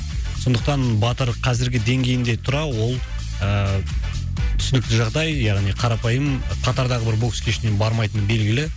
сондықтан батыр қазіргі деңгейінде тұра ол ыыы түсінікті жағдай яғни қарапайым қатардағы бір бокс кешіне бармайтыны белгілі